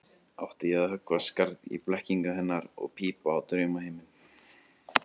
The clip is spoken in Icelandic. Átti ég að höggva skarð í blekkingu hennar og pípa á draumaheiminn?